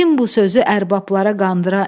Kim bu sözü ərbablara qandıra.